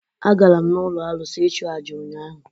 A gara m n’ụlọ arụsị ịchụ àjà ụnyahụ